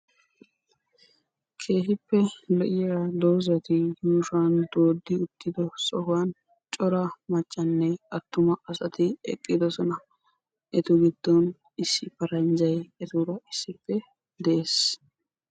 Keehippe lo'iya doozati yuushuwan dooddi uttiddo sohuwan cora maccanne atumma asati eqqidosona. Etu giddon issi paranjjay etuura issippe de'ees.